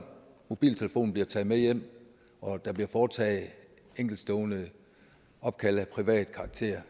mobiltelefonen bliver taget med hjem og der bliver foretaget enkeltstående opkald af privat karakter